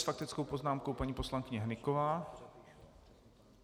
S faktickou poznámkou paní poslankyně Hnyková.